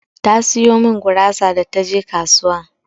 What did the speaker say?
Ta sayo min gurasa da taje kasuwa.